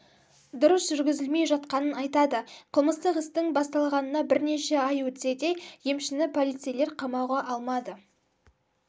дұрыс жүргізілмей жатқанын айтады қылмыстық істің басталғанына бірнеше ай өтсе де емшіні полицейлер қамауға алмады